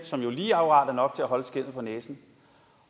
som jo lige akkurat er nok til at holde skindet på næsen